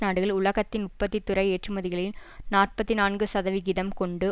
நாடுகள் உலகத்தின் உற்பத்தி துறை ஏற்றுமதிகளில் நாற்பத்தி நான்கு சதவிகிதம் கொண்டு